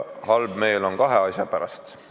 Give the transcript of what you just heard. Halb meel on kahe asja pärast.